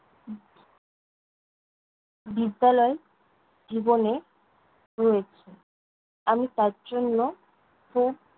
বিদ্যালয় জীবনে রয়েছে। আমি তার জন্য খুব